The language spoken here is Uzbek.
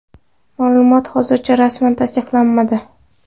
Ma’lumot hozircha rasman tasdiqlanmadi.